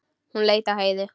Hún leit á Heiðu.